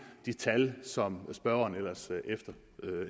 de tal som spørgeren ellers